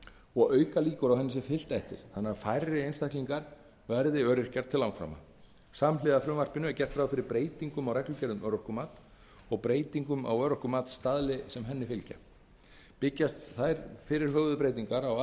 og auka líkur á því að henni sé fylgt eftir þannig að færri einstaklingar verði öryrkjar til langframa samhliða frumvarpinu er gert ráð fyrir breytingum á reglugerð um örorkumat og breytingum á örorkumatsstaðli sem henni fylgir byggjast fyrirhugaðar breytingar á